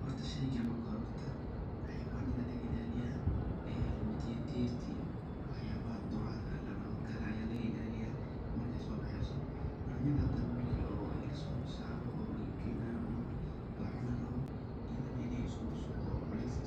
Horta shegan marki hore xawayada aya laga ilaliyaa markey so baxeso . Yanyada hadana didirta iyo duraha iyo waxas ayaa laga ilaliyaa oo marki so baheso oo dry iyo kul placeah aya lageyaa oo la ismakorsaro oo waxa laga cabsana iney isku bushudo marki